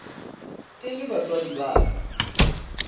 e le batswadi ba ka